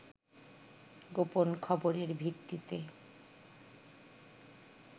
গোপন খবরের ভিত্তিতে